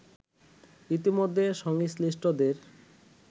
ইতোমধ্যে সংশ্লিষ্টদের